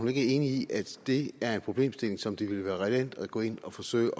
er enig i at det er en problemstilling som det ville være relevant at gå ind og forsøge